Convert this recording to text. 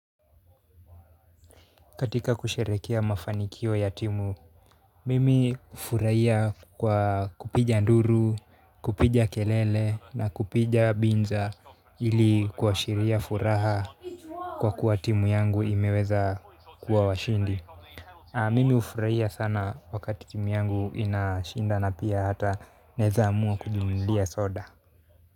Katika kusherehekea mafanikio ya timu mimi hufurahia kwa kupiga nduru, kupiga kelele na kupiga binja ili kuashiria furaha kwa kuwa timu yangu imeweza kuwa washindi mimi hufurahia sana wakati timu yangu inashinda na pia hata naezaamua kujinunulia soda.